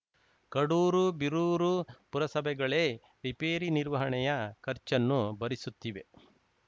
ಕಡೂರು ಬೀರೂರು ಪುರಸಭೆಗಳೇ ರಿಪೇರಿ ನಿರ್ವಹಣೆಯ ಖರ್ಚನ್ನು ಭರಿಸುತ್ತಿವೆ